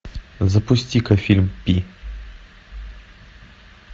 запусти ка фильм пи